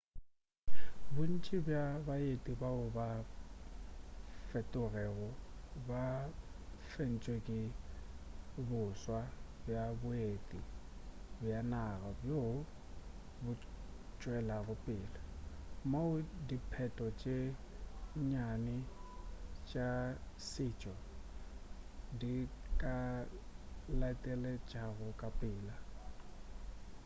bontši bja baeti bao ba sa fetogego ba fentšwe ke boswa bja boeti bja naga bjoo bo tšwelago pele moo diphetogo tše nnyane tša setšo di ka tlaleletšago ka pela